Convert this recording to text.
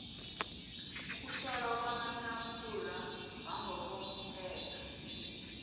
ukuhlolwa kwamasampula wangokomthetho